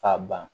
K'a ban